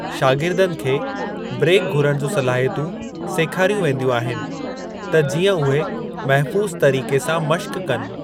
शागिरदनि खे ब्रेक घुरण जूं सलाहियतूं सेखारियूं वेंदियूं आहिनि त जीअं उहे महफूज़ु तरीक़े सां मश्क़ कनि।